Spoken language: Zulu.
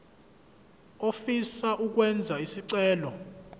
ofisa ukwenza isicelo